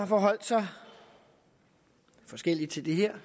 forholdt sig forskelligt til det her